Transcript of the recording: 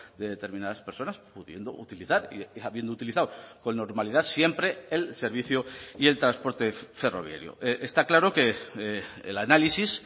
de determinadas personas pudiendo utilizar y habiendo utilizado con normalidad siempre el servicio y el transporte ferroviario está claro que el análisis